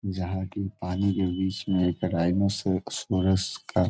जहाँ की पानी के बीच में एक राइनोसेरॉस का --